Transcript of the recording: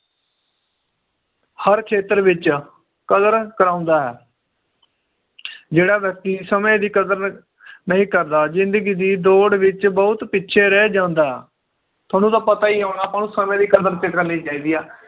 ਹਰ ਖੇਤਰ ਵਿਚ ਕਦਰ ਕਰਾਉਂਦਾ ਹੈ ਜਿਹੜਾ ਵ੍ਯਕ੍ਤਿ ਸਮੇ ਦੀ ਕਦਰ ਨਹੀਂ ਕਰਦਾ ਜਿੰਦਗੀ ਦੀ ਦੌੜ ਵਿਚ ਬਹੁਤ ਪਿਛੇ ਰਹਿ ਜਾਂਦਾ ਥੋਨੂੰ ਤਾਂ ਪਤਾ ਈ ਹੋਣਾ ਆਪਾਂ ਨੂੰ ਸਮੇ ਦੀ ਕਦਰ ਤੇ ਕਰਨੀ ਚਾਹੀਦਾ ਆ